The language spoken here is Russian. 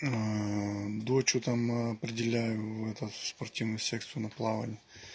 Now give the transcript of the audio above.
дочь что там определяю в этот в спортивную секцию на плавание